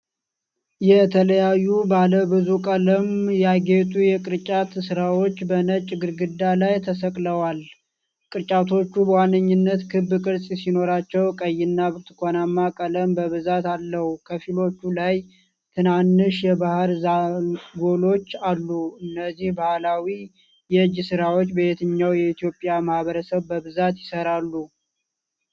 የተለያዩ ባለ ብዙ ቀለም ያጌጡ የቅርጫት ሥራዎች በነጭ ግድግዳ ላይ ተሰቅለዋል። ቅርጫቶቹ በዋነኛነት ክብ ቅርጽ ሲኖራቸው፣ ቀይና ብርቱካንማ ቀለም በብዛት አለው። ከፊሎቹ ላይ ትናንሽ የባሕር ዛጎሎች አሉ። እነዚህ ባህላዊ የእጅ ሥራዎች በየትኛው የኢትዮጵያ ማኅበረሰብ በብዛት ይሰራሉ?